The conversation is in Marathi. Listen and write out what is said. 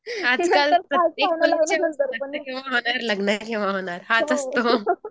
आजकाल प्रत्येक लग्न हाच असतो.